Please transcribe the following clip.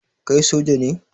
Kai soja ne?